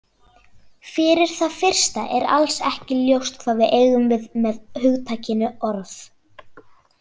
Fyrir það fyrsta er alls ekki ljóst hvað við eigum við með hugtakinu orð.